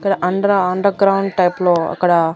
అక్కడ అండ్ర underground type లో అక్కడ.